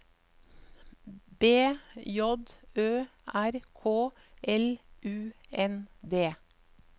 B J Ø R K L U N D